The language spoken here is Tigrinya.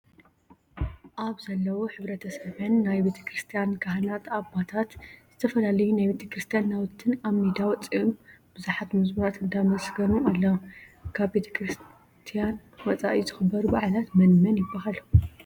ኣብ ዘለው ሕብረተሰበን ናይ ቤክርስትያን ካህናት ኣባታትን ዝተፈላለዩ ናይ ቤተክርስትያን ናውትን ኣብ ሜዳ ወፂኦም ብዙሓት መዘሙራን እንዳመስገኑ ኣለው። ካብ ቤተክረስያው ወፃኢ ዝክበሩ በዓላት መን መን ይበሃሉ?